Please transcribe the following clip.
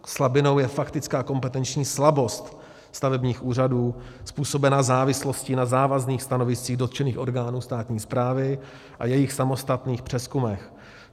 Slabinou je faktická kompetenční slabost stavebních úřadů způsobená závislostí na závazných stanoviscích dotčených orgánů státní správy a jejich samostatných přezkumech.